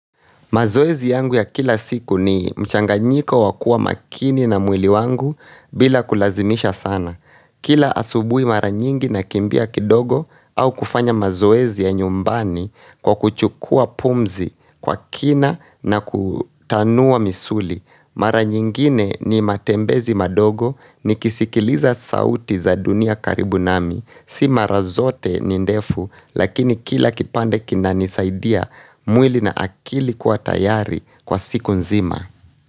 Mazoezi yangu ya kila siku ni mchanganyiko wakua makini na mwili yangu bila kulazimisha sana. Kila asubuhi mara nyingi na kimbia kidogo au kufanya mazoezi ya nyumbani kwa kuchukua pumzi kwa kina na kutanua misuli. Mara nyingine ni matembezi madogo nikisikiliza sauti za dunia karibu nami si mara zote ni ndefu lakini kila kipande kinani saidia mwili na akili kuwa tayari kwa siku nzima.